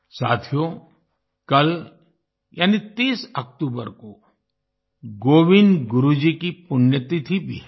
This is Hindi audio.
साथियो कल यानि 30 अक्टूबर को गोविन्द गुरु जी की पुण्यतिथि भी है